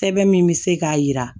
Sɛbɛn min bɛ se k'a jira